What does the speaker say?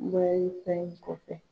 kɔfɛ